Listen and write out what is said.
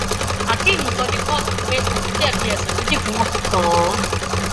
akeem sọ ní kóòtù pé òun jẹbi ẹsùn méjì tí wọn fi kàn án